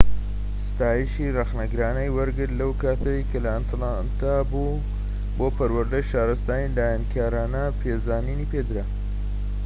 ستایشی ڕەخنەگرانەی وەرگرت لەو کاتەی لە ئەتلانتا بوو بۆ پەروەردەی شارستانی داهێنانکارانە پێزانی پێدرا